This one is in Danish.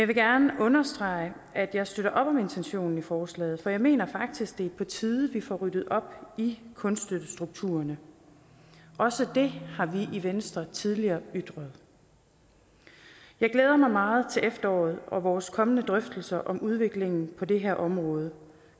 vil gerne understrege at jeg støtter op om intentionen i forslaget for jeg mener faktisk det er på tide vi får ryddet op i kunststøttestrukturen også det har vi i venstre tidligere ytret jeg glæder mig meget til efteråret og vores kommende drøftelser om udviklingen på det her område